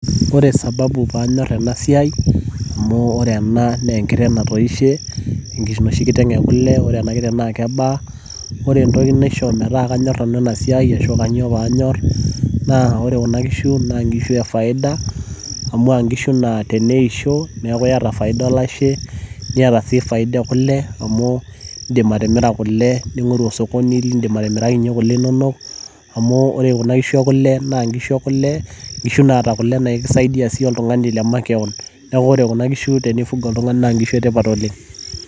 ore ena naa enkiteng' natoishe enoshi kiteng ekule , naa keeta sii faida amu nkishu naa ore pee eisho naaa keeta faida olashe okule, amu idim atimira kule nitum faida sapuk oleng'.